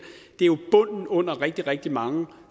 jo bunden under rigtig rigtig mange